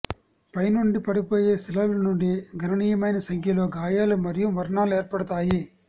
పై నుండి పడిపోయే శిలల నుండి గణనీయమైన సంఖ్యలో గాయాలు మరియు మరణాలు ఏర్పడతాయి